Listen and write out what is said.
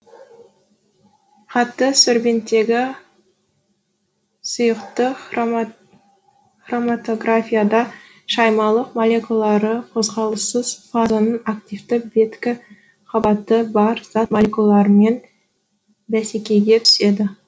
қатты сорбенттегі сұйықтық хроматографияда шаймалық молекулалары қозғалыссыз фазаның активті беткі қабаты бар зат молекулаларымен бәсекеге түседі